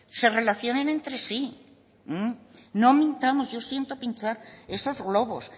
se relacionen entre sí no mintamos yo siento pinchar esos globos